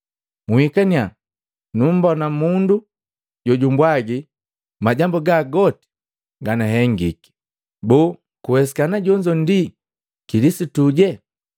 “Uhikaniya mumbona mundu jojumpwaji majambu goka gahengiki. Boo kuwesikana jonzo ndi wa Kilisituje?”